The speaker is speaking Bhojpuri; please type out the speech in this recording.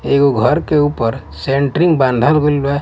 एगो घर के ऊपर सेंटरिंग बंधल गइल बा --